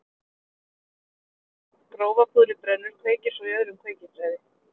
Eldurinn sem myndast þegar grófa púðrið brennur kveikir svo í öðrum kveikiþræði.